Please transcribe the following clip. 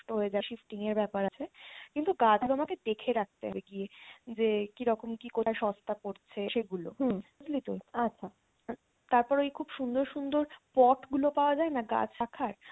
হয়ে যায় shifting এর ব্যাপার আছে কিন্তু গাছগুলো আমাকে দেখে রাখতে হবে গিয়ে যে কীরকম কি কটা সস্তা পড়ছে সেগুলো বুঝলি তো? তারপরে খুব সুন্দর সুন্দর pot গুলো পাওয়া যায়না গাছ রাখার?